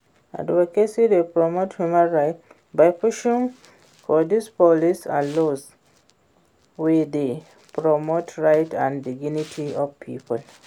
advocacy dey promote human rights by pushing for di policies and laws wey dey protect rights and dignity of people.